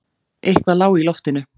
Eitthvað lá í loftinu.